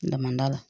N man d'a la